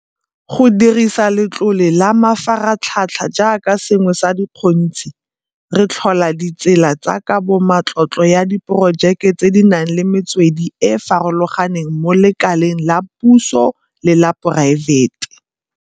Go dirisa Letlole la Mafaratlhatlha jaaka sengwe sa dikgontshi, re tlhola ditsela tsa kabomatlotlo ya diporojeke tse di nang le metswedi e e farologaneng mo lekaleng la puso le la poraefete.